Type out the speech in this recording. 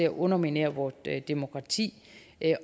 underminere vores demokrati